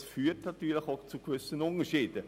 Dies führt zwangsläufig zu gewissen Unterschieden.